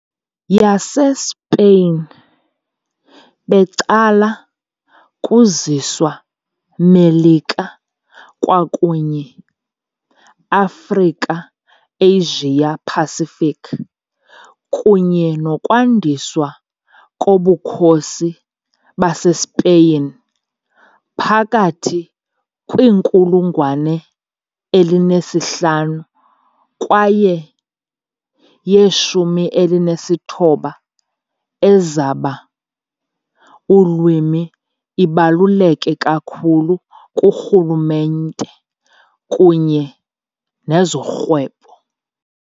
YaseSpain becala kuziswa Melika kwakunye Afrika Asia Pacific, kunye nokwandiswa koBukhosi baseSpeyin phakathi kwiinkulungwane elinesihlanu kwaye yeshumi elinesithoba, ezaba ulwimi ibaluleke kakhulu kurhulumente kunye nezorhwebo.